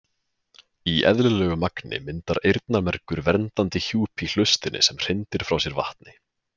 Í eðlilegu magni myndar eyrnamergur verndandi hjúp í hlustinni sem hrindir frá sér vatni.